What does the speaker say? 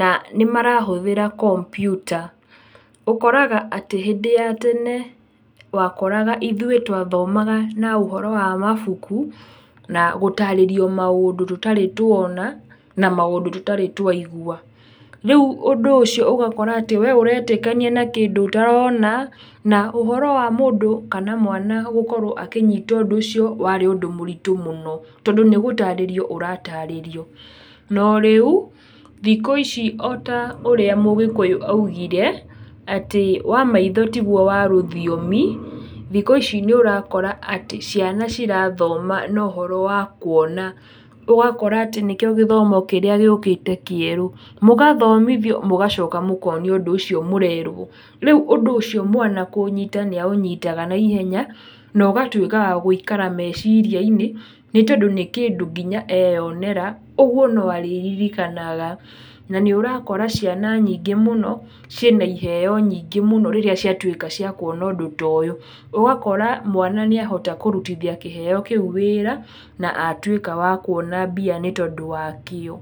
na nĩ marahũthĩra kompyuta. ũkoraga atĩ, hĩndĩ ya tene wakoraga ithuĩ twathomaga na ũhoro wa mabuku, na gũtarĩrio maũndũ tũtarĩ tuona, na maũndũ tũtarĩ twaigua. Rĩu ũndũ ũcio ũgakora atĩ we ũretĩkania na kĩndũ ũtarona, na ũhoro wa mũndũ kana mwana gũkorwo akĩnyita ũndũ ũcio warĩ ũndũ mũritũ mũno tondũ nĩ gũtarĩrio ũratarĩrio. No rĩu, thikũ ici o ta ũrĩa mũgĩkũyũ augire, atĩ wa maitho tiguo wa rũthiomi, thikũ ici nĩ ũrakora atĩ ciana cirathoma na ũhoro wa kuona, ũgakora atĩ nĩkĩo, gĩthomo kĩrĩa gĩũkĩte kĩerũ, mũgathomithio mũgacoka mũkonio ũndũ ũcio mũrerwo. Rĩu ũndũ ũcio mwana kũũnyita nĩ aũnyitaga na ihenya, na ũgatuĩka wa gũikara meciria-inĩ, nĩ tondũ nĩ kĩndũ nginya eyonera, ũguo no arĩririkanaga. Na nĩ ũrakora ciana nyingĩ mũno, ciĩ na iheo nyingĩ mũno rĩrĩa ciatuĩka cia kuona ũndũ ta ũyũ. Ũgakora mwana nĩ ahota kũrutithia kĩheo kĩu wĩra, na atuĩka wa kuona mbia nĩ tondũ wakĩo.